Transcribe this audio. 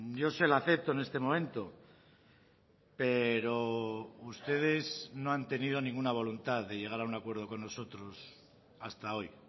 yo se la acepto en este momento pero ustedes no han tenido ninguna voluntad de llegar a un acuerdo con nosotros hasta hoy